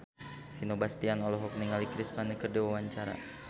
Vino Bastian olohok ningali Chris Pane keur diwawancara